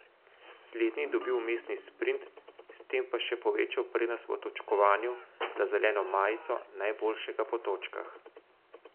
Slednji je dobil vmesni sprint, s tem pa še povečal prednost v točkovanju za zeleno majico najboljšega po točkah.